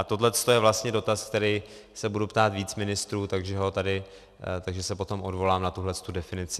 A tohle je vlastně dotaz, který se budu ptát více ministrů, takže se potom odvolám na tuhle definici.